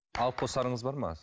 алып қосарыңыз бар ма